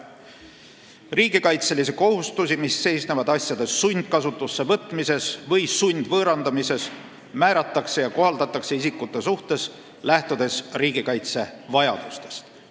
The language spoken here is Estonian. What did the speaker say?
Riigikaitselisi kohustusi, mis seisnevad asjade sundkasutusse võtmises või sundvõõrandamises, määratakse ja kohaldatakse isikute suhtes, lähtudes riigikaitse vajadustest.